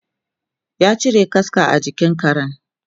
ya cire kaska a jikin Karen